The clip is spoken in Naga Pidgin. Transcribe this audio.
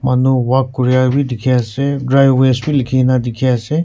manu walk kurai bi dikhiase dry waste likhina dikhiase--